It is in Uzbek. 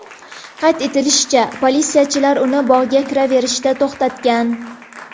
Qayd etilishicha, politsiyachilar uni bog‘ga kiraverishda to‘xtatgan.